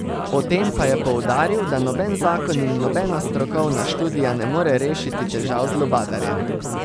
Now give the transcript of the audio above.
O tem pa je poudaril, da noben zakon in nobena strokovna študija ne more rešiti težav z lubadarjem.